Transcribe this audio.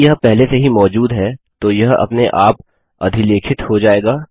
यदि यह पहले से ही मौजूद है तो यह अपने आप अधिलेखित हो जायेगा